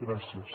gràcies